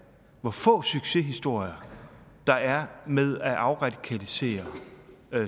hvor få succeshistorier der er med at afradikalisere